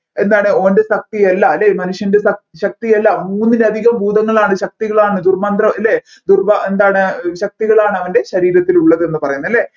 എന്താണ് ഓൻെറ ശക്തിയല്ല അല്ലെ മനുഷ്യൻെറ ശക് ശക്തിയല്ല മൂന്നിലധികം ഭൂതങ്ങളാണ് ശക്തികളാണ് ദുർമന്ത്ര അല്ലെ ദുർവാ എന്താണ് ശക്തികളാണ് അവൻെറ ശരീരത്തിൽ ഉള്ളതെന്ന് പറയുന്നത് അല്ലെ